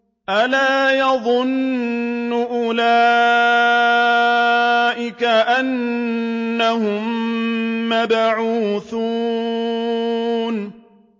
أَلَا يَظُنُّ أُولَٰئِكَ أَنَّهُم مَّبْعُوثُونَ